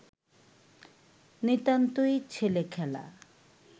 নিতান্তই ছেলে-খেলা